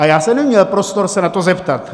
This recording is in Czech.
A já jsem neměl prostor se na to zeptat.